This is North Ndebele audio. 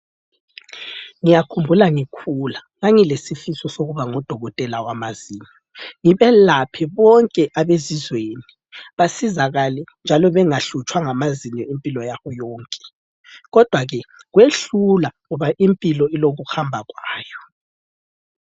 Ngiyakhumbula ngikhula ngangilesifiso sokuba ngudokotela wamazinyo ngibelaphe bonke abezizweni basizakale njalo bengahlutshwa ngamazinyo impilo yabo yonke kodwa ke kwehlula ngoba impilo ilokuhamba kwayo.